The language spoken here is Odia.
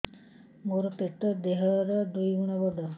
ମୋର ପେଟ ଦେହ ର ଦୁଇ ଗୁଣ ବଡ